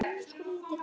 Nú eða aldrei.